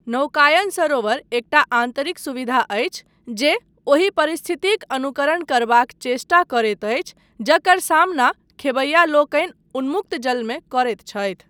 नौकायन सरोवर एकटा आन्तरिक सुविधा अछि जे ओहि परिस्थितिक अनुकरण करबाक चेष्टा करैत अछि जकर सामना खेबैया लोकनि उन्मुक्त जलमे करैत छथि।